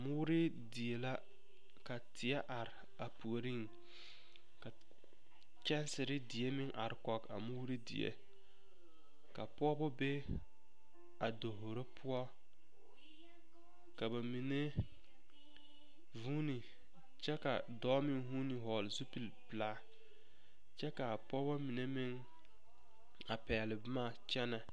Mooredie la ka teɛ are a puoriŋ ka kyɛnsere die meŋ are kɔge a mooredie ka pɔgeba be a davoro poɔ ka ba mine zuuni kyɛ ka dɔɔ meŋ zuuni vɔgle zupili pelaa kyɛ ka a pɔgbɔ mine meŋ a pɛgle boma.